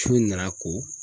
Su nana ko.